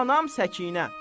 Anam Səkinə.